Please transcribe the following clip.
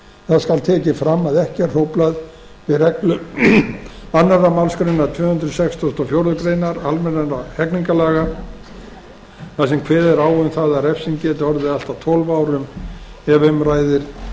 það skal tekið fram að ekki er hróflað við reglu annarri málsgrein tvö hundruð sextugustu og fjórðu grein almennra hegningarlaga þar sem kveðið er á um að refsing geti orðið allt að tólf árum ef um ræðir